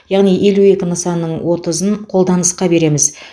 яғни елу екі нысанның отызын қолданысқа береміз